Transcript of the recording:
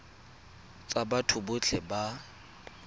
tsa batho botlhe ba ba